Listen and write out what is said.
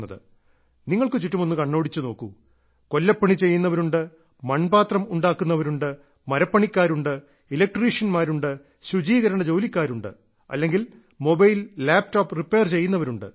നിങ്ങൾക്ക് ചുറ്റും ഒന്ന് കണ്ണോടിച്ചു നോക്കൂ കൊല്ലപ്പണി ചെയ്യുന്നവരുണ്ട് മൺപാത്രം ഉണ്ടാക്കുന്നവരുണ്ട് മരപ്പണിക്കാരുണ്ട് ഇലക്ട്രീഷ്യൻമാരുണ്ട് ശുചീകരണ ജോലിക്കാരുണ്ട് അല്ലെങ്കിൽ മൊബൈൽലാപ്ടോപ്പ് റിപ്പയർ ചെയ്യുന്നവരുണ്ട്